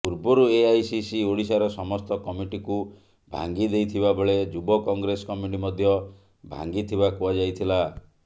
ପୂର୍ବରୁ ଏଆଇସିସି ଓଡ଼ିଶାର ସମସ୍ତ କମିଟିକୁ ଭାଙ୍ଗି ଦେଇଥିବାବେଳେ ଯୁବ କଂଗ୍ରେସ କମିଟି ମଧ୍ୟ ଭାଙ୍ଗିଥିବା କୁହାଯାଇଥିଲା